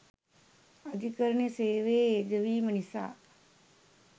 අධිකරණ සේවයේ යෙදවීම නිසා